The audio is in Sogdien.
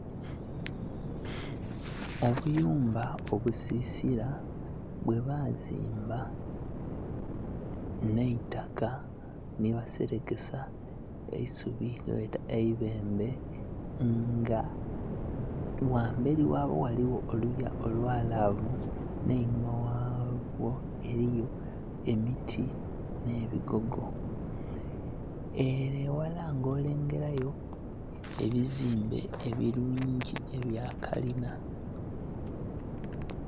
Obuyumba obusisila bwebazimba nh'eitaka nhi baselekesa eisubi lyebeeta eibembe, nga ghambeli ghabwo ghaligho oluya olwalaavu, nh'einhuma ghabwo eliyo emiti nh'ebigogo. Ele eghala ng'olengelayo ebizimbe ebilungi ebya kalina.